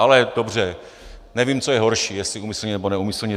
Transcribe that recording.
Ale dobře, nevím, co je horší, jestli úmyslně, nebo neúmyslně.